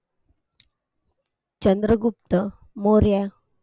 Chandragupta Maurya